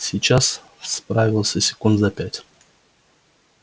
сейчас справился секунд за пять